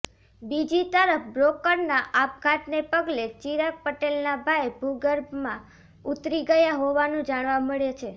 બીજી તરફ બ્રોકરના આપઘાતને પગલે ચિરાગ પટેલના ભાઈ ભૂગર્ભમાં ઉતરી ગયા હોવાનું જાણવા મળે છે